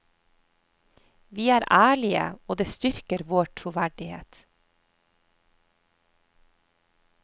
Vi er ærlige, og det styrker vår troverdighet.